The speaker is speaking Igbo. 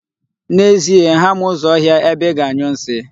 N'ezie, ha ma ụzọ ọhịa ebe ị ga-anyụ nsi.